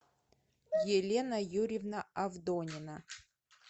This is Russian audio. елена юрьевна авдонина